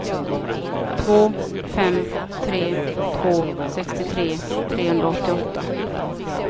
två fem tre två sextiotre trehundraåttioåtta